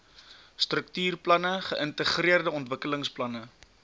struktuurplanne geïntegreerde ontwikkelingsplanne